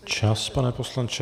Čas, pane poslanče.